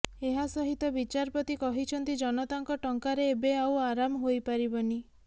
ଏହାସହିତ ବିଚାରପତି କହିଛନ୍ତି ଜନତାଙ୍କ ଟଙ୍କାରେ ଏବେ ଆଉ ଆରାମ ହୋଇପାରିବନି